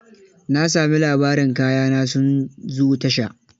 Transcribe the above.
Na sami labarin kaya na sun zo tasha.